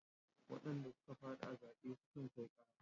Wadanda suka fadi a zaɓe sukan kai ƙara.